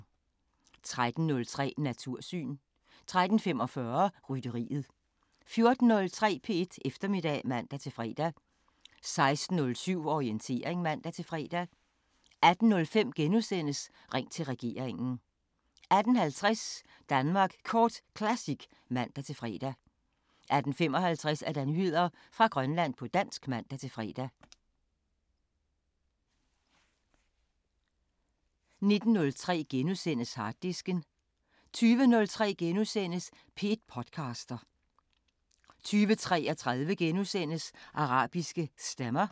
13:03: Natursyn 13:45: Rytteriet 14:03: P1 Eftermiddag (man-fre) 16:07: Orientering (man-fre) 18:05: Ring til regeringen * 18:50: Danmark Kort Classic (man-fre) 18:55: Nyheder fra Grønland på dansk (man-fre) 19:03: Harddisken * 20:03: P1 podcaster * 20:33: Arabiske Stemmer *